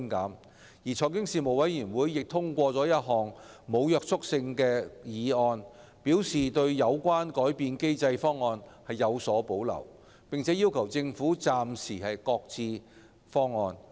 就此，財經事務委員會通過一項無約束力的議案，對有關改變機制的方案表示有所保留，並要求政府暫時擱置。